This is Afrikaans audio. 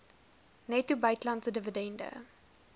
netto buitelandse dividende